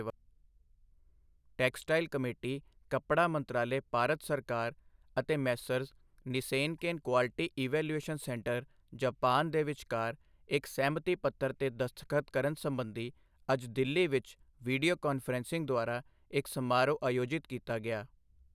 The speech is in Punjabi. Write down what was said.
ਟੈਕਸਟਾਈਲ ਕਮੇਟੀ, ਕੱਪੜਾ ਮੰਤਰਾਲੇ, ਭਾਰਤ ਸਰਕਾਰ ਅਤੇ messrs Nissenken quality evaluation centre Japan, ਦੇ ਵਿਚਕਾਰ ਇੱਕ ਸਹਿਮਤੀ ਪੱਤਰ ਤੇ ਦਸਤਖਤ ਕਰਨ ਸਬੰਧੀ ਅੱਜ ਦਿੱਲੀ ਵਿੱਚ ਵੀਡੀਓ ਕਾਨਫਰੰਸਿੰਗ ਦੁਆਰਾ ਇੱਕ ਸਮਾਰੋਹ ਆਯੋਜਿਤ ਕੀਤਾ ਗਿਆ।